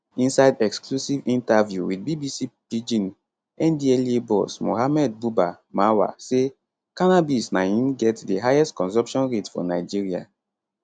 inside exclusive interview with bbc pidgin ndlea boss mohammed buba marwa say cannabis na im get di highest consumption rate for nigeria